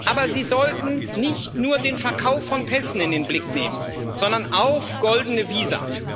Aber Sie sollten nicht nur den Verkauf von Pässen in den Blick nehmen, sondern auch goldene Visa.